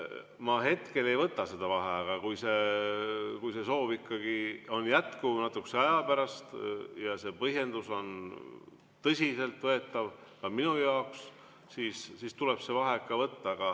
Ma hetkel ei võta seda vaheaega, aga kui see soov ikkagi on jätkuv natukese aja pärast ja see põhjendus on tõsiselt võetav ka minu jaoks, siis tuleb see vaheaeg võtta.